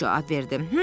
Pux cavab verdi.